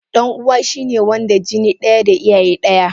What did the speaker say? Dan uwa shine Wanda jini daya da iyaye daya.